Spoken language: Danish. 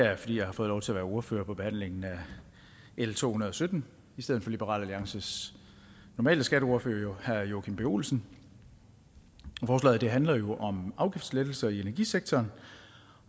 er jeg fordi jeg har fået lov til at være ordfører på behandlingen af l to hundrede og sytten i stedet for liberal alliances normale skatteordfører herre joachim b olsen forslaget handler jo om afgiftslettelser i energisektoren